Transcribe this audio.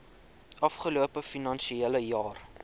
afgelope finansiële jaar